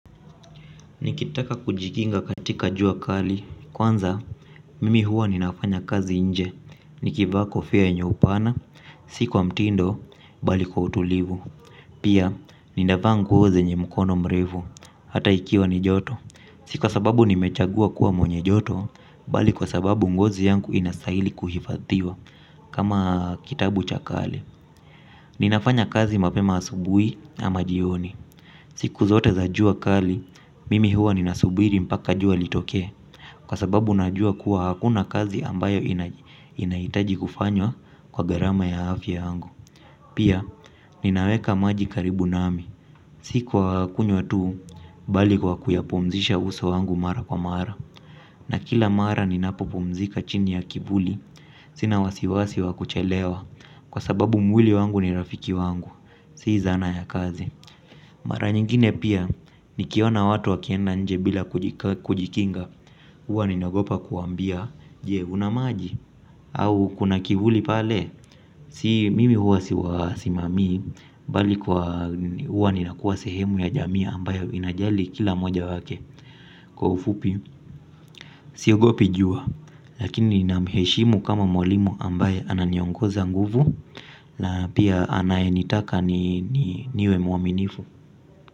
Nikitaka kujikinga katika jua kali, kwanza mimi huwa ninafanya kazi nje, nikivaa kofia yenyo upana, siku wa mtindo, bali kwa utulivu. Pia, ninavaa nguo zenye mkono mrefu, hata ikiwa ni joto, si kwa sababu nimechagua kuwa mwenye joto, bali kwa sababu ngozi yangu inastahili kuhifathiwa, kama kitabu cha kale. Ninafanya kazi mapema asubuhi ama jioni. Siku zote za jua kali, mimi huwa ninasubiri mpaka jua litokee. Kwa sababu najua kuwa hakuna kazi ambayo inahitaji kufanywa kwa gharama ya afya yangu. Pia, ninaweka maji karibu nami. Siku wa kunywa tu, bali kwa kuyapumzisha uso wangu mara kwa mara. Na kila mara ninapopumzika chini ya kivuli, sina wasiwasi wa kuchelewa. Kwa sababu mwili wangu ni rafiki wangu. Si zana ya kazi mara nyingine pia nikiona watu wakienda nje bila kujikinga huwa ninagopa kuwaambia je una maji. Au kuna kivuli pale. Si mimi huwa siwasimamii. Bali kwa huwa ninakuwa sehemu ya jamii ambayo inajali kila mmoja wake. Kwa ufupi siogopi jua. Lakini namheshimu kama mwalimu ambaye ananiongeza nguvu na pia anyenitaka niwe mwaminifu.